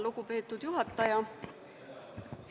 Lugupeetud juhataja!